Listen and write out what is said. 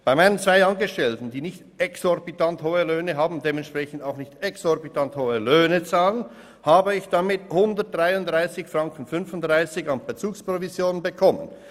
Bei meinen zwei Angestellten, die nicht exorbitant hohe Löhne haben und dementsprechend auch nicht exorbitant hohe Steuern bezahlen, habe ich damit 133,35 Franken an Bezugsprovision erhalten.